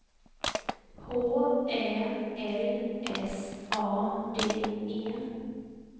H Ä L S A D E